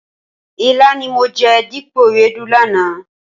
Ilá ni mo jẹ dípò ewédú lánàá.